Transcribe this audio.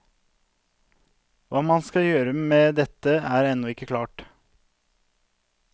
Hva man skal gjøre med dette er ennå ikke klart.